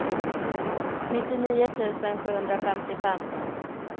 nittionio tusen sjuhundrafemtiofem